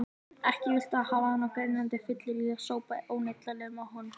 Ekki viltu hafa hann á grenjandi fylleríi, það sópaði óneitanlega að honum þá.